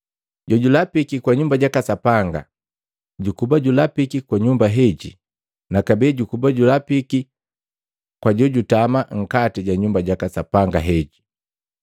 Jojulapiki kwa Nyumba jaka Sapanga jukuba julapiki kwa nyumba heji na kabee jukuba julapiki kwa jojutama nkati ja nyumba jaka Sapanga heji.